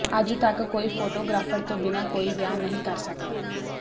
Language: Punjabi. ਅੱਜ ਤੱਕ ਕੋਈ ਫੋਟੋਗ੍ਰਾਫਰ ਤੋਂ ਬਿਨਾਂ ਕੋਈ ਵਿਆਹ ਨਹੀਂ ਕਰ ਸਕਦਾ